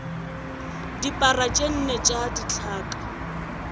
dipara tše nne tša dithaka